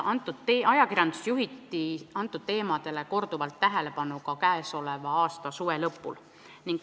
Ajakirjanduses juhiti nendele teemadele korduvalt tähelepanu ka tänavu suve lõpul.